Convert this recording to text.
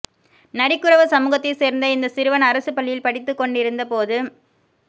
நரிக்குறவ சமூகத்தைச் சேர்ந்த இந்த சிறுவன் அரசுப் பள்ளியில் படித்துக் கொண்டிருந்தபோது